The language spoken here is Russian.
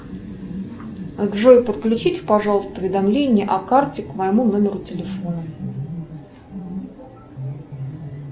джой подключите пожалуйста уведомления о карте к моему номеру телефона